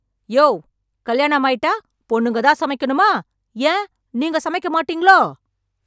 யோவ் கல்யாணம் ஆயிட்ட பொண்ணுங்க தான் சமைக்கனுமா ஏன் நீங்க சமைக்கமாட்டீங்களோ